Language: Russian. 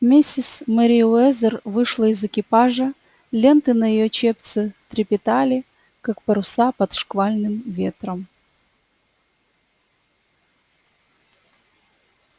миссис мерриуэзер вышла из экипажа ленты на её чепце трепетали как паруса под шквальным ветром